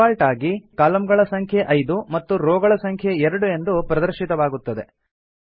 default ಆಗಿ column ಗಳ ಸಂಖ್ಯೆ ೫ ಮತ್ತು ರೋ ಗಳ ಸಂಖ್ಯೆ ೨ ಎಂದು ಪ್ರದರ್ಶಿತವಾಗುತ್ತದೆ